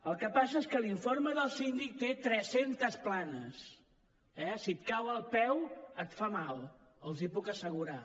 el que passa és que l’informe del síndic té tres centes planes eh si et cau al peu et fa mal els ho puc assegurar